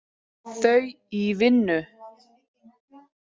Þau í vinnu.